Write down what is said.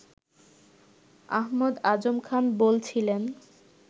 আহমদ আজম খান বলছিলেন